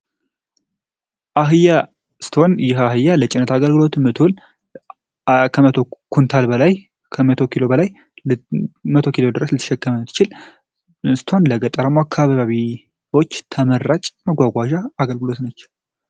አህያ ስቶን ይህ አህያ ለጭነት አገልግሎትን ምትሁል ከ000 ኩንታል በላይ ከ100 ኪሎ በላይ ለ10 ኪሎ ድረስ ሊተሸከምት ችል ስቶን ለገጠራሙ አካባቢዎች ተመራጭ መጓጓዣ አገልግሎት ነቸው።